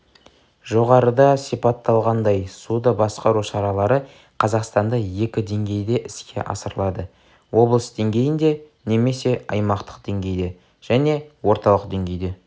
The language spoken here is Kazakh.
жоғарыда сипатталғандай суды басқару шаралары қазақстанда екі деңгейде іске асырылады облыс деңгейінде немесе аймақтық деңгейде және орталық деңгейде